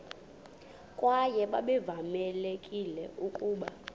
kwaye babevamelekile ukuba